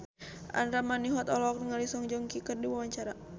Andra Manihot olohok ningali Song Joong Ki keur diwawancara